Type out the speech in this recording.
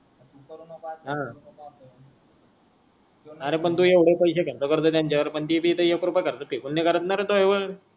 अरे पण तू एवढे पैशे खर्च करतो तेंच्या वर पण ती एक रुपया खर्च नई करत ना